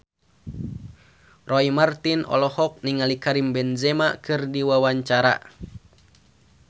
Roy Marten olohok ningali Karim Benzema keur diwawancara